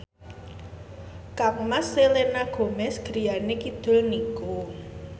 kangmas Selena Gomez griyane kidul niku